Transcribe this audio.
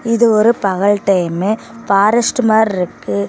இது ஒரு பகல் டைமு ஃபாரஸ்டு மார்ருக்கு.